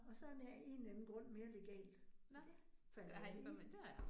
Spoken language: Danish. Og så er af en eller anden grund mere legalt, og det faldt jeg i